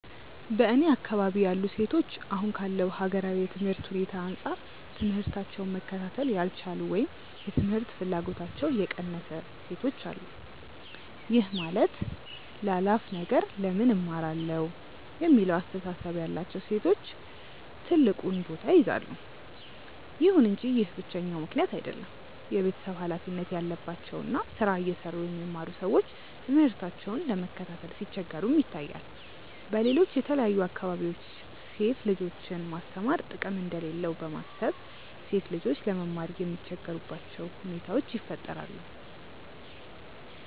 በእኔ አካባቢ ያሉ ሴቶች አሁን ካለው ሀገራዊ የትምህርት ሁኔታ አንጻር ትምህታቸውን መከታተል ያልቻሉ ወይም የትምህርት ፍላጎታቸው የቀነሰ ሴቶች አሉ። ይህም ማለት ላላፍ ነገር ለምን እማራለሁ የሚለው አስተሳሰብ ያላቸው ሴቶች ትልቁን ቦታ ይይዛሉ። ይሁን እንጂ ይህ ብቸኛው ምክንያት አይደለም። የቤተሰብ ሀላፊነት ያለባቸው እና ስራ እየሰሩ የሚማሩ ሰዎች ትምህርታቸውን ለመከታተል ሲቸገሩም ይታያል። በሌሎች የተለያዩ አካባቢዎች ሴት ልጆችን ማስተማር ጥቅም እንደሌለው በማሰብ ሴት ልጆች ለመማር የሚቸገሩባቸው ሁኔታዎች ይፈጠራሉ።